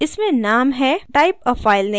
इसमें name है type a file name